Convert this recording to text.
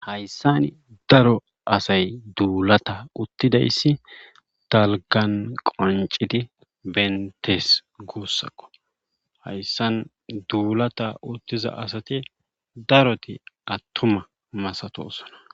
hayssan daro asay duulata uttidayssi talgan qonciti beetes guussakko hayssan duulata uttiza asati daroti attuma masatosona